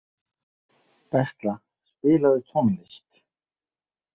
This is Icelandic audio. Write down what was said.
Bestla, spilaðu tónlist.